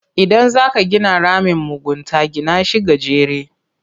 Idan zaka gina ramin mugunta, gina shi gajere.